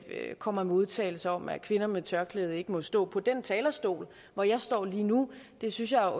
kommer med udtalelser om at kvinder med tørklæde ikke må stå på den talerstol hvor jeg står lige nu det synes jeg